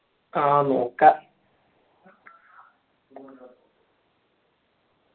ആ നോക്കാ